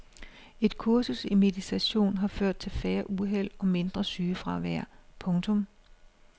Et kursus i meditation har ført til færre uheld og mindre sygefravær. punktum